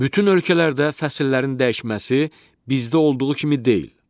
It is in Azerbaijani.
Bütün ölkələrdə fəsillərin dəyişməsi bizdə olduğu kimi deyil.